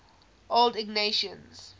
old ignatians